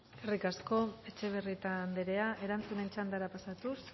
eskerrik asko etxebarrieta andrea erantzunen txandara pasatuz